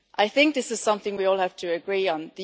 I think this is something we all have to agree on.